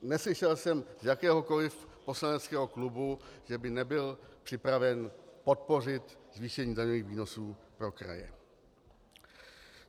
Neslyšel jsem z jakéhokoli poslaneckého klubu, že by nebyl připraven podpořit zvýšení daňových výnosů pro kraje.